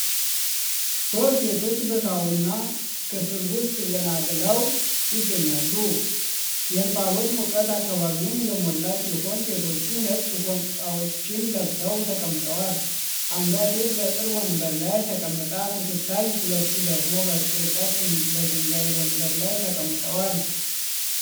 ሶስት ሴቶች በሳውና ክፍል ውስጥ ዘና ብለው ይገኛሉ። የእንፋሎት ሙቀት አካባቢውን የሞላ ሲሆን፣ ሴቶቹ ነጭ ፎጣዎችን ለብሰው ተቀምጠዋል። አንዷ ሴት በቅርብ ወንበር ላይ ተቀምጣ ስትታይ፣ ሁለቱ ደግሞ በርቀት በድንጋይ ወንበር ላይ ተቀምጠዋል።